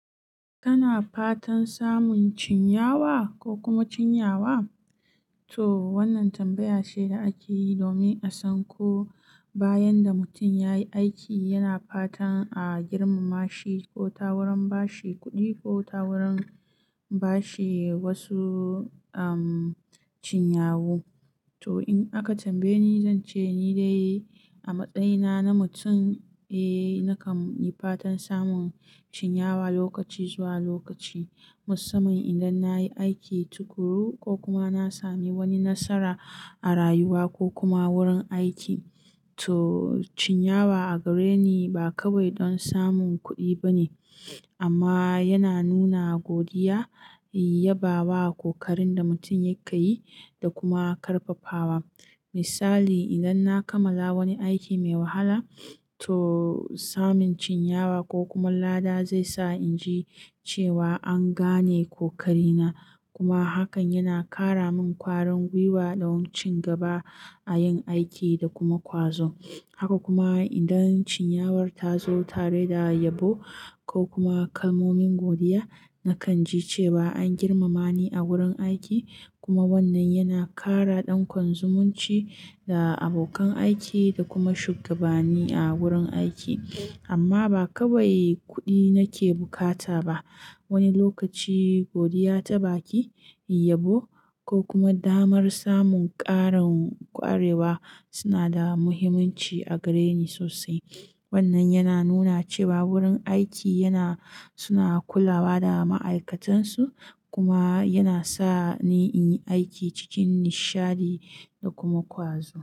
Kana fatan samun cinyawa ko kuma cinyawa? To wannan tambaya ce da ake yi domin a san ko bayan da mutum ya yi aiki, yana fatan a girmama shi ko ta wurin ba shi kuɗi ko ta wurin ba shi wasu, umm, cinyawu. To in aka tambaye ni, zan ce ni dai a matsayina na mutum, eh, nakan yi fatan samun cinyawa lokaci zuwa lokaci. Musamman idan na yi aiki tuƙuru ko kuma na sami wani nasara a rayuwa ko kuma wurin aiki. To cinyawa a gare ni ba kawai don samun kuɗi ba ne, amma yana nuna godiya, yaba wa kokarin da mutum ya kayyi da kuma ƙarfafawa. Misali, idan na kammala wani aiki mai wahala, to samun cinyawa ko kuma lada zai sa in ji cewa an gane kokarina. Kuma hakan yana ƙara min ƙwarin gwiwa don cin gaba a yin aiki da kuma ƙwazo. Haka kuma idan cinyawar ta zo tare da yabo ko kuma kalmomin godiya, nakan ji cewa an girmama ni a wurin aiki. Kuma wannan yana ƙara ɗan kon zumunci da abokan aiki da kuma shugabani a wurin aiki. Amma ba kawai kuɗi nake bukata ba. Wani lokaci godiya ta baki, yabo ko kuma damar samun ƙarin ƙwarewa suna da muhimmanci a gare ni sosai. Wannan yana nuna cewa wurin aiki yana, suna kulawa da ma'aikatansu kuma yana sa ni in yi aiki cikin nishadi da kuma ƙwazo.